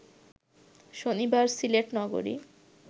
শনিবার সিলেট নগরী